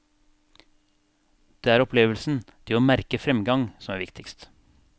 Det er opplevelsen, det å merke framgang som er viktigst.